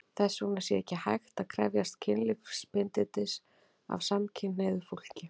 Þess vegna sé ekki hægt að krefjast kynlífsbindindis af samkynhneigðu fólki.